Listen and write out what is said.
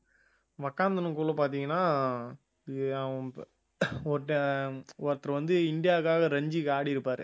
உட்கார்ந்தின்னுகுள்ள பார்த்தீங்கன்னா ஒருத்தன் ஒருத்தர் வந்து இந்தியாவுக்காக ரஞ்சிக்கு ஆடியிருப்பாரு